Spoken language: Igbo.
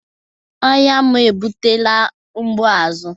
Ọnya m ebutela mgbu azụ